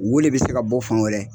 Woo de be se ka bɔ fan wɛrɛ